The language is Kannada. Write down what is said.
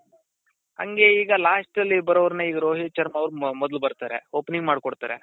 ಹಂಗೆ ಈಗ last ಅಲ್ಲಿ ಬರೋರ್ನ ಈಗ ರೋಹಿತ್ ಶರ್ಮ ಅವರು ಮೊದಲು ಬರ್ತಾರೆ opening ಮಾಡಿ ಕೊಡ್ತಾರೆ .